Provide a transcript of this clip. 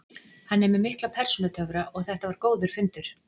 Hann er með mikla persónutöfra og þetta var góður fundur.